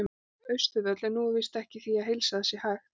Austurvöll, en nú er víst ekki því að heilsa að það sé hægt.